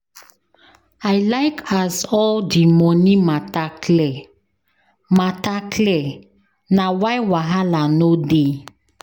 I like as all di moni mata clear, na why wahala no dey.